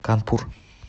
канпур